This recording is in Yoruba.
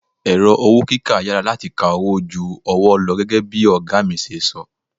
Ẹ̀rọ owó kíkà yára láti ka owó ju ọwọ́ lọ gẹ́gẹ́ bí ọ̀gá mi ṣe sọ.